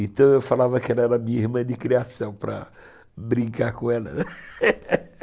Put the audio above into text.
Então eu falava que ela era minha irmã de criação, para brincar com ela